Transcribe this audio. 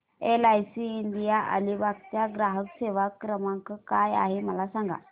LIC India Alibag चा ग्राहक सेवा क्रमांक काय आहे मला सांगा